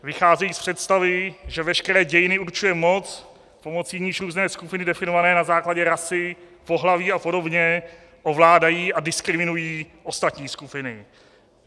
Vycházejí z představy, že veškeré dějiny určuje moc, pomocí níž různé skupiny definované na základě rasy, pohlaví a podobně ovládají a diskriminují ostatní skupiny.